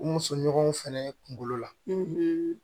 U musoɲɔgɔnw fɛnɛ kungolo la